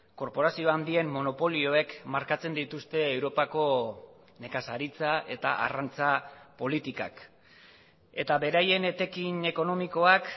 korporazio handien monopolioek markatzen dituzte europako nekazaritza eta arrantza politikak eta beraien etekin ekonomikoak